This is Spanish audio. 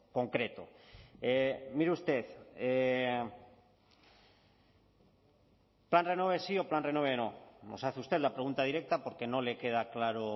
concreto mire usted plan renove sí o plan renove no nos hace usted la pregunta directa porque no le queda claro